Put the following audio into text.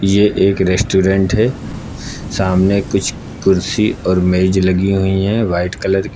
ये एक रेस्टोरेंट है सामने कुछ कुर्सी और मेज लगी हुई है व्हाइट कलर की।